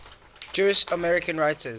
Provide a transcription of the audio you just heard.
jewish american writers